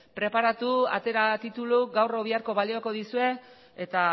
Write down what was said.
preparatu atera tituluak gaur edo biharko balioko dizue eta